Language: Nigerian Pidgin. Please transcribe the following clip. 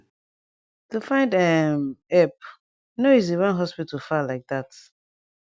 to find um epp no easy wen hospital far lyk dat